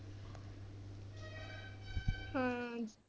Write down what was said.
ਹਾਂ।